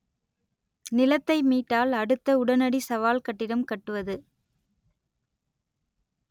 நிலத்தை மீட்டால் அடுத்த உடனடி சவால் கட்டிடம் கட்டுவது